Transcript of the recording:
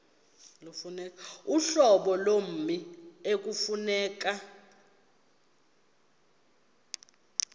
uhlobo lommi ekufuneka